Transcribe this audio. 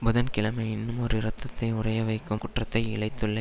புதன் கிழமை இன்னுமொரு இரத்தத்தை உறையவைக்கும் குற்றத்தை இழைத்துள்ள